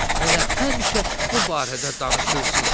elə həmişə bu barədə danışırsız.